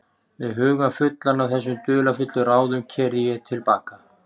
Með hugann fullan af þessum dularfullu ráðum keyrði ég til baka.